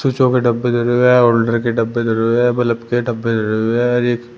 स्विचों के डब्बे धरे हुए हैं और होल्डर के डब्बे धरे हुए हैं बल्ब के डब्बे धरे हुए हैं और एक --